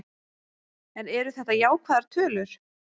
En eru þetta jákvæðar tölur?